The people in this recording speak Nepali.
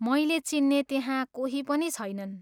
मैले चिन्ने त्यहाँ कोही पनि छैनन्।